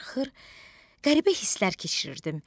Darıxır, qəribə hisslər keçirirdim.